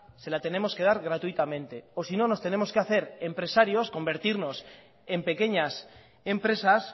se la tenemos que dar gratuitamente o si no nos tenemos que hacer empresarios convertirnos en pequeñas empresas